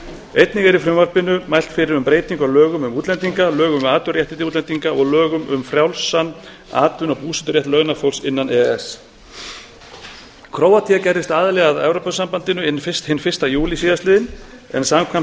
einnig er í frumvarpinu mælt fyrir um breytingu á lögum um útlendinga lögum um atvinnuréttindi útlendinga og lögum um frjálsan atvinnu og búseturétt launafólks innan e e s króatía gerðist aðili að evrópusambandinu hinn fyrsta júlí síðastliðinn en samkvæmt e e